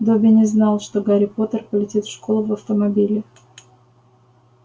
добби не знал что гарри поттер полетит в школу в автомобиле